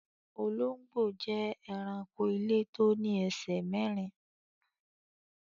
Olongbo jẹ́ èránkò ilẹ̀ tó ní èṣè mẹ̀rìn.